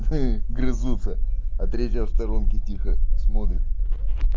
хе хе грызутся а третья в сторонке тихо смотрит